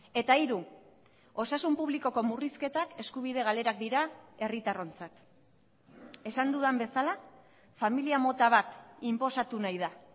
eta hiru osasun publikoko murrizketak eskubide galerak dira herritarrontzat esan dudan bezala familia mota bat inposatu nahi da